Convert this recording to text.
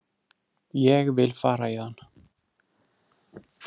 Ég vil fara héðan.